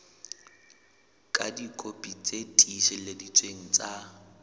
ka dikopi tse tiiseleditsweng tsa